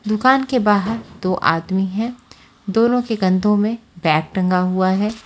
दूकान के बाहर दो आदमी है दोनों के कंधो में बैग टंगा हुआ है।